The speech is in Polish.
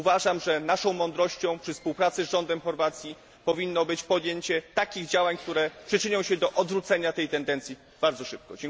Uważam, że naszą mądrością, przy współpracy z rządem Chorwacji, powinno być podjęcie takich działań, które przyczynią się do odwrócenia tej tendencji bardzo szybko.